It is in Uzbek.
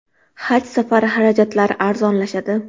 Haj safari xarajatlari arzonlashadi.